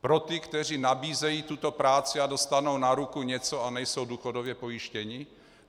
Pro ty, kteří nabízejí tuto práci a dostanou na ruku něco a nejsou důchodově pojištěni?